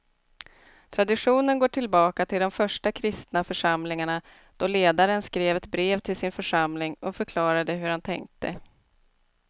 Traditionen går tillbaka till de första kristna församlingarna då ledaren skrev ett brev till sin församling och förklarade hur han tänkte.